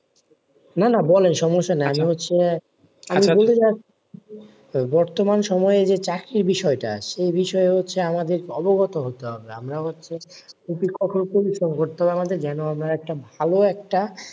না না বলা সমস্যা নাই আমি হচ্ছে, আমি বলতে চাইছি, বর্তমান সময়ে যে চাকরির বিষয়টা সেই বিষয়টা হচ্ছে আমাদের অবগত হতে হবে, আমরা হচ্ছে ভালো একটা,